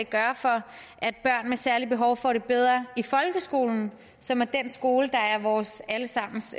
gøre for at børn med særlige behov får det bedre i folkeskolen som er den skole der er vores alle sammens